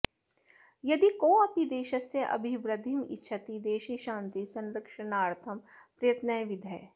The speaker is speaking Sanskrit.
यदि कोऽपि देशस्य अभिवृद्धिमिच्छति देशे शान्तेः संरक्षणार्थं प्रयत्नः विधेयः